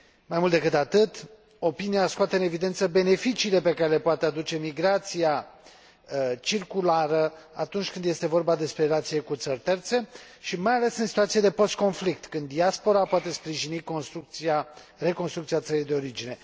Mai mult decât atât, avizul scoate în evidență beneficiile pe care le poate aduce migrația circulară, atunci când este vorba despre relațiile cu țări terțe și mai ales în situațiile de postconflict, când diaspora poate sprijini reconstrucția țării de origine.